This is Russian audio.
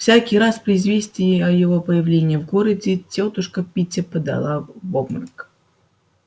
всякий раз при известии о его появлении в городе тётушка питти падала в обморок